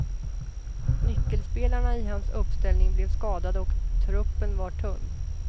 Nyckelspelarna i hans uppställning blev skadade och truppen var tunn.